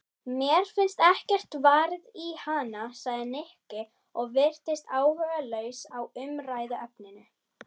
Mér finnst ekkert varið í hana sagði Nikki og virtist áhugalaus á umræðuefninu.